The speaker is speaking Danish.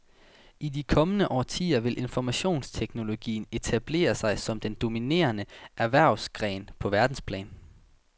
I de kommende årtier vil informationsteknologien etablere sig som den dominerende erhvervsgren på verdensplan.